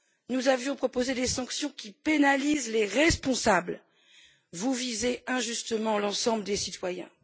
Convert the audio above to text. Nous avions proposé des sanctions qui pénalisent les responsables, vous visez injustement l'ensemble des citoyens.